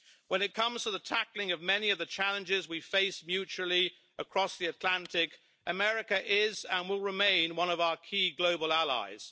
When it comes to the tackling of many of the challenges we face mutually across the Atlantic, America is and will remain one of our key global allies.